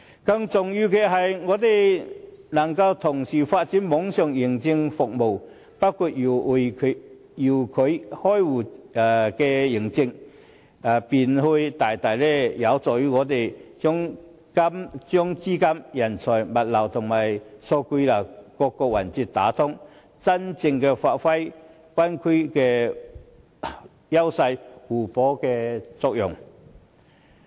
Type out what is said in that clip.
更重要的是，政府若能同時發展網上認證服務，包括遙距開戶認證，便會大大幫助香港把資金、人才、物流及數據流等各個環節打通，真正發揮灣區的優勢互補的作用。